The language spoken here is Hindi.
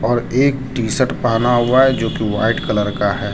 और एक टीशर्ट पहना हुआ है जो कि व्हाइट कलर का है।